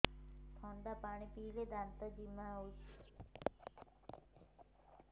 ଥଣ୍ଡା ପାଣି ପିଇଲେ ଦାନ୍ତ ଜିମା ହଉଚି